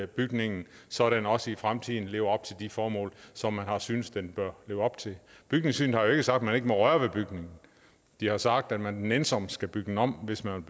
bygningen så den også i fremtiden lever op til de formål som man har syntes den bør leve op til bygningssynet har jo ikke sagt man ikke må røre ved bygningen de har sagt at man nænsomt skal bygge den om hvis man